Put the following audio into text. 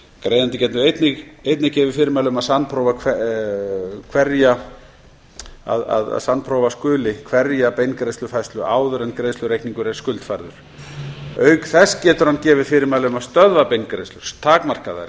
greiðandi getur einnig gefið fyrirmæli um að sannprófa skuli hverja beingreiðslufærslu áður en greiðslureikningur er skuldfærður auk þess getur hann gefið fyrirmæli um að stöðva beingreiðslur takmarka þær eða